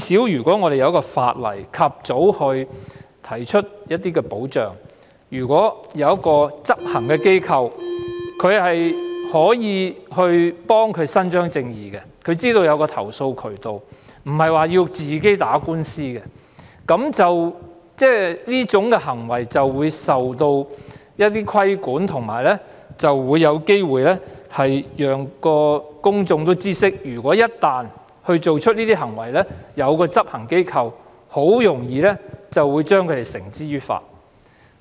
如果香港有法例及早提供一些保障，例如有執行機構可以為事主伸張正義，她們便知道有投訴渠道，並非要自行打官司，這些騷擾行為便會受到規管，並且有機會讓公眾知悉，一旦有人做出這些行為便有執行機構處理，非常容易將他們繩之於法。